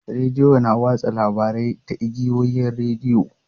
Rediyo na watsa labarai ta igiyoyin rediyo.